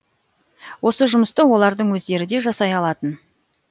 осы жұмысты олардың өздері де жасай алатын